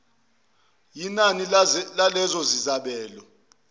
yinani lalezo zabelo